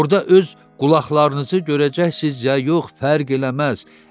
Orda öz qulaqlarınızı görəcəksiz ya yox, fərq eləməz.